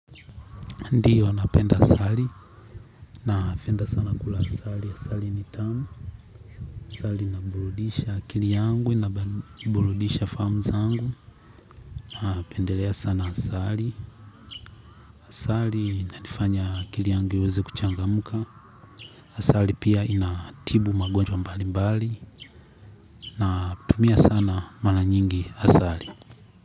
Ndiyo, napenda asali, na penda sana kula asali, asali ni tamu, asali inaburudisha akili yangu, inaburudisha fahamu zangu, na pendelea sana asali, asali inanifanya akili yangu iweze kuchangamka asali pia inatibu magonjwa mbalimbali natumia sana mara nyingi asali.